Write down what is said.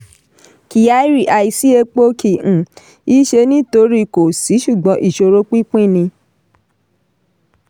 kyari: àisí epo kì um í ṣe nítorí kò sí ṣùgbọ́n ìṣòro pínpín ni.